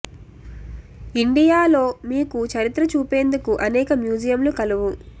India లో మీకు చరిత్ర చూపేందుకు అనేక మ్యూజియం లు కలవు